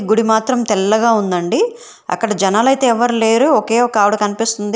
గుడి మాత్రం తెల్లగా ఉందండి అక్కడ జనాలైతే ఎవ్వరు లేరు ఒకేఒకావిడ ఆవిడ కన్పిస్తుంది.